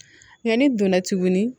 Yanni donna tugu ni